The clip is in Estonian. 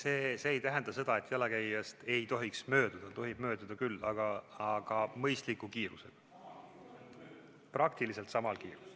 Ei, see ei tähenda seda, et jalakäijast ei tohiks mööduda, tohib mööduda küll, aga mõistliku kiirusega, praktiliselt samal kiirusel.